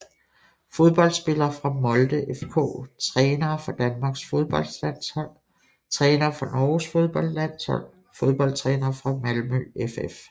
Fodboldspillere fra Molde FK Trænere for Danmarks fodboldlandshold Trænere for Norges fodboldlandshold Fodboldtrænere fra Malmö FF